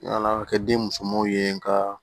Nana kɛ den musomanw ye n ka